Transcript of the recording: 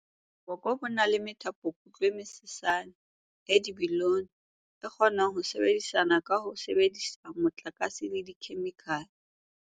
"Boko bo na le methapokutlo e mesesane, e dibilione, e kgonang ho sebedisana ka ho sebedisa motlakase le dikhemikhale."